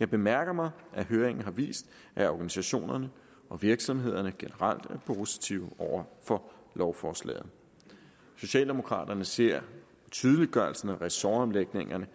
jeg bemærker mig at høringen har vist at organisationerne og virksomhederne generelt er positive over for lovforslaget socialdemokraterne ser tydeliggørelsen af ressortomlægningerne